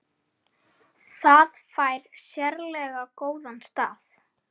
Það fær sérlega góðan stað.